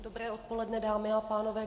Dobré odpoledne, dámy a pánové.